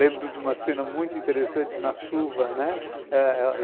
Lembro de uma cena muito interessante na chuva, né?